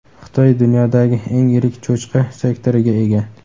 Xitoy dunyodagi eng yirik cho‘chqa sektoriga ega.